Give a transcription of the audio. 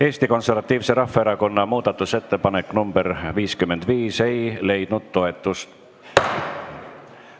Eesti Konservatiivse Rahvaerakonna muudatusettepanek nr 55 ei leidnud toetust.